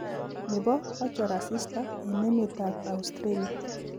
ne bo kachor asista eng emetab Australia.